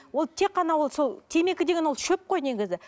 ол тек қана ол сол темекі деген ол шөп қой негізі